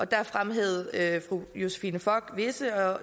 der fremhævede fru josephine fock visse